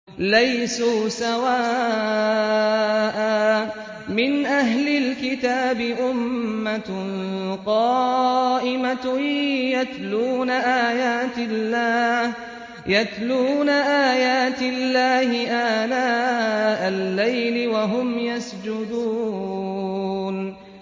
۞ لَيْسُوا سَوَاءً ۗ مِّنْ أَهْلِ الْكِتَابِ أُمَّةٌ قَائِمَةٌ يَتْلُونَ آيَاتِ اللَّهِ آنَاءَ اللَّيْلِ وَهُمْ يَسْجُدُونَ